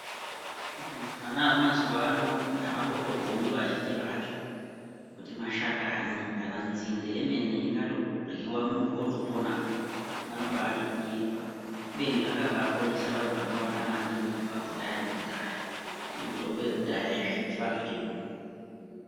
Vana va mazuva ano avamboto gondi vazhinji vacho kuti mashakani kana nzinde yemene ingato ryiwa muntu woto pona vanobaiti kunyepa kubeni zvakabai ponesa vantu vakawanda maningi kubva kudhaya neku dhaya ne mitombo yekudhaya yechi vantu chedu.